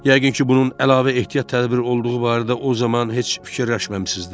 Yəqin ki, bunun əlavə ehtiyat tədbiri olduğu barədə o zaman heç fikirləşməmisiniz də.